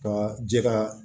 Ka jɛgɛ